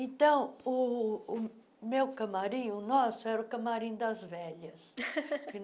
Então, o o meu camarim, o nosso, era o camarim das velhas.